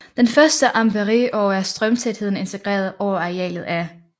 Den første er Ampères og er strømtætheden integreret over arealet af